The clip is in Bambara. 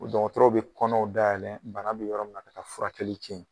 O don dɔgɔtɔrɔw bɛ kɔnɔw dayɛlɛn bana bɛ yɔrɔ min ka taa furakɛli kɛ yen.